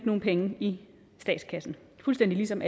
nogle penge i statskassen fuldstændig ligesom